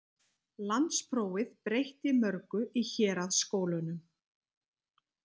Landsprófið breytti mörgu í héraðsskólunum.